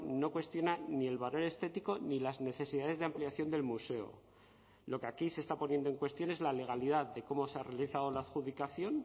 no cuestiona ni el valor estético ni las necesidades de ampliación del museo lo que aquí se está poniendo en cuestión es la legalidad de cómo se ha realizado la adjudicación